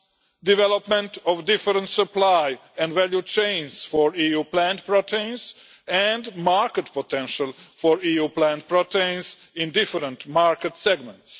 the development of different supply and value chains for EU plant proteins and the market potential for EU plant proteins in different market segments.